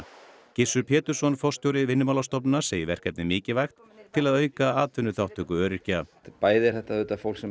Gissur Pétursson forstjóri Vinnumálastofnunar segir verkefnið mikilvægt til að auka atvinnuþátttöku öryrkja bæði er þetta þetta fólk sem